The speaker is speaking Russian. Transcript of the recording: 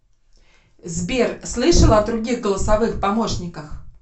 сбер слышала о других голосовых помощниках